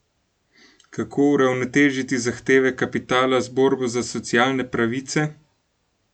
Kako uravnotežiti zahteve kapitala z borbo za socialne pravice?